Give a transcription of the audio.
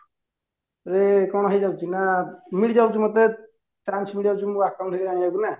ରେ କଣ ହେଇଯାଉଚି ନା ମିଳିଯାଉଚି ମତେ chance ମିଳିଯାଉଚି ମତେ ମୋ account ବିଷୟରେ ଜାଣିବାକୁ ନା